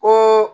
Ko